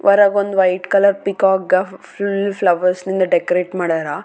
ಇದ್ ಒಂದು ದೊಡ್ಡ ಫುನ್ಕ್ಷನ್ ಹಾಲ್ ಅಲ್ಲಿ ಫುನ್ಕ್ಷನ್ ನಡ್ಯಾಕತ.